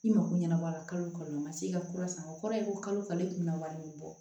I mako ɲɛnabɔ a la kalo kalo o ma se ka kura san o kɔrɔ ye ko kalo ale tun bɛna wari bɔ